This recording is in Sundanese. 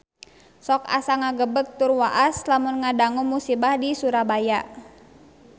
Sok asa ngagebeg tur waas lamun ngadangu musibah di Surabaya